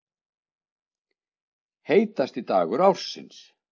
Heitasti dagur ársins